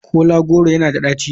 Kola goro yana da daci?